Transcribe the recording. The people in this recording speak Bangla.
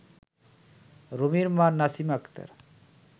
রুমির মা নাসিমা আক্তার